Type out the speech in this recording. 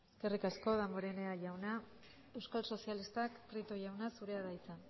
eskerrik asko damborenea jauna euskal sozialistak prieto jauna zurea da hitza